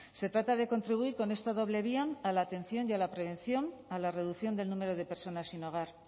se trata de contribuir con esta doble vía a la atención y a la prevención a la reducción del número de personas sin hogar